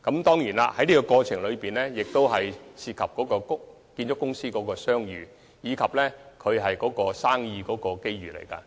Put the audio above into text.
當然，在這個過程中，涉及建築公司的商譽，亦關乎他們生意上的機遇。